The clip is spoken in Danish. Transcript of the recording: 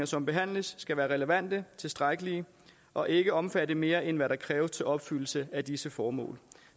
som behandles skal være relevante tilstrækkelige og ikke omfatte mere end hvad der kræves til opfyldelse af disse formål